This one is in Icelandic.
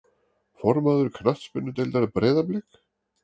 Formaður knattspyrnudeildar Breiðablik?